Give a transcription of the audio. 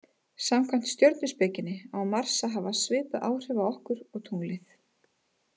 Samkvæmt stjörnuspekinni á Mars að hafa svipuð áhrif okkur og tunglið.